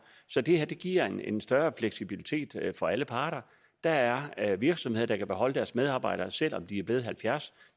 så det her giver en en større fleksibilitet for alle parter der er er virksomheder der kan beholde deres medarbejdere selv om de er blevet halvfjerds